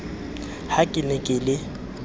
ha ke ne ke le